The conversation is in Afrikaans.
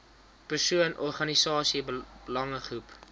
persoon organisasie belangegroep